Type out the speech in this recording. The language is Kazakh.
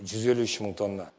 жүз елу үш мың тонна